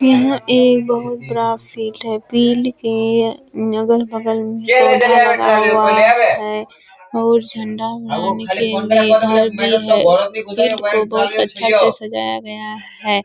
यह एक बहुत के अगल बगल पौधा लगा हुआ है और झंडा में घर भी है को बहुत अच्छा से सजाया गया है।